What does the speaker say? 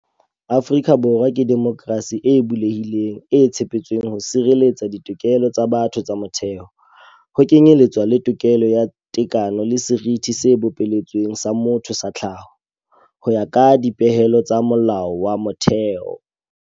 Afrika Borwa ke demokrasi e bulehileng, e tshepetsweng ho sireletsa ditokelo tsa batho tsa motheo, ho kenyeletswa le tokelo ya tekano le seriti se bopeletsweng sa motho sa tlhaho, ho ya ka dipehelo tsa Molao wa Motheo.